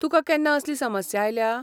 तुकां केन्ना असली समस्या आयल्या?